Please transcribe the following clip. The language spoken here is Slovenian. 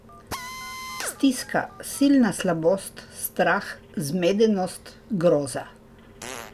Stiska, silna slabost, strah, zmedenost, groza.